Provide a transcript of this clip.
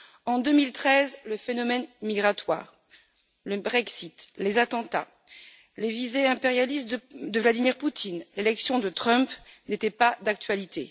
En 2013, le phénomène migratoire, le Brexit, les attentats, les visées impérialistes de Vladimir Poutine et l'élection de Donald Trump n'étaient pas d'actualité.